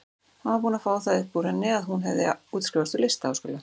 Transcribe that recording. Hann var búinn að fá það upp úr henni að hún hefði útskrifast úr listaháskóla.